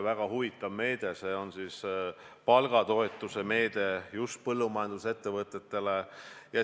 Väga huvitav meede, see on palgatoetuse meede just põllumajandusettevõtetele.